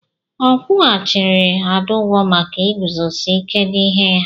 A kwụghachiri Ada ụgwọ maka iguzosi ike n'ihe ya.